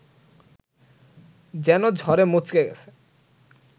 যেন ঝড়ে মচকে গেছে